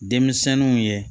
Denmisɛnninw ye